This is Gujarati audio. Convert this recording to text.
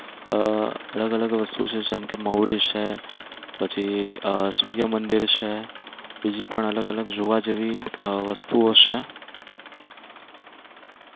અમ અલગ અલગ વસ્તુ છે જેમ કે મહુડી છે, પછી સૂર્યમંદિર છે, બીજી પણ જોવા જેવી અલગ અલગ વસ્તુઓ છે.